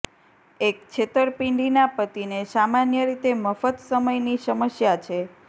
એક છેતરપિંડીના પતિને સામાન્ય રીતે મફત સમયની સમસ્યા છે